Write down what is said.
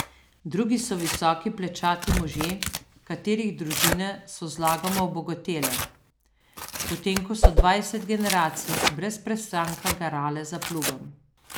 Drugi so visoki plečati možje, katerih družine so zlagoma obogatele, potem ko so dvajset generacij brez prestanka garale za plugom.